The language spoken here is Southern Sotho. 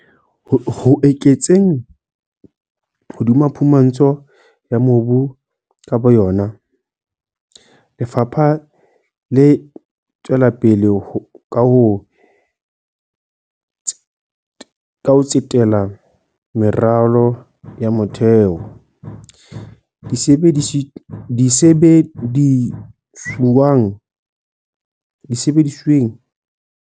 Ho eketseng hodima phumantsho ya mobu ka bo yona, lefapha le tswela pele ka ho tsetela meralong ya motheo, disebedisuweng le metjhineng e le ho thusa bahwebi bana ho tsamaisa dikgwebo tsa bona ka katleho.